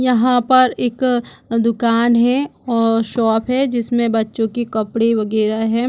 यहाँ पर एक दूकान है और शॉप है जिसमे बच्चो के कपड़ो वगैरा है।